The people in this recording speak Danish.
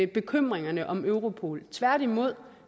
bekymringerne om europol tværtimod